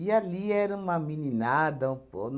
ali era uma meninada. Um po